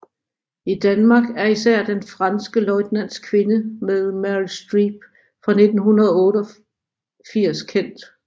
I Danmark er især Den franske løjtnants kvinde med Meryl Streep fra 1981 kendt